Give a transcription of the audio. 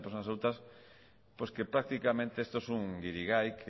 de personas adultas pues que prácticamente estos es un guirigay